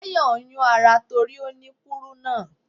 Tayọ̀ ń yún ara torí ó ní kúrúnà.